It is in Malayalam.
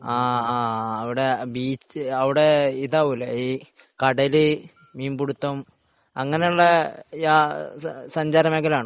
ആഹ് അവിടെ ബീച്ച് അവിടെ ഇതാവും അല്ലെ കടൽ മീൻപിടുത്തം അങ്ങനെയുള്ള സഞ്ചാര മേഖലയാണോ